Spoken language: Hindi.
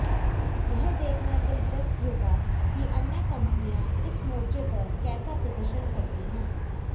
यह देखना दिलचस्प होगा कि अन्य कंपनियां इस मोर्चे पर कैसा प्रदर्शन करती हैं